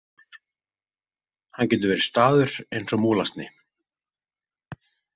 Hann getur verið staður eins og múlasni.